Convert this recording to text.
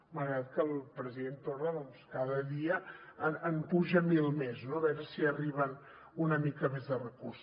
malgrat que el president torra doncs cada dia n’apuja mil més no a veure si arriben una mica més de recursos